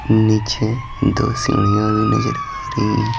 नीचे दो सिंढ़िया भी नजर आ रही है।